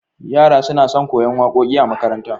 Yara suna son koyan waƙoƙi a makaranta